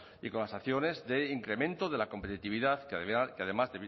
y con las acciones de incremento de la competitividad que además